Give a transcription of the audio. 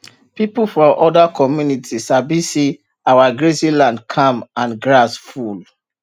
pipu for oda comminity sabi say our grazing land calm and grass full